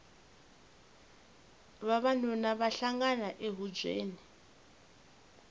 vavanuna va hlangana ehubyeni